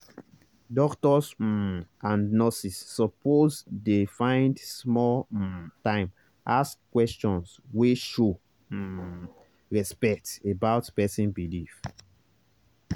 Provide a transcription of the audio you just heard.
doctors um and nurses suppose dey find small um time ask questions wey show um respect about person belief.